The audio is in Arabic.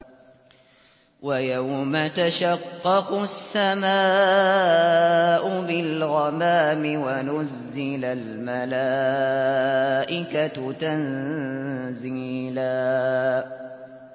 وَيَوْمَ تَشَقَّقُ السَّمَاءُ بِالْغَمَامِ وَنُزِّلَ الْمَلَائِكَةُ تَنزِيلًا